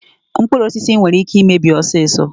Mkpụrụ osisi nwere ike imebi ọsịsọ.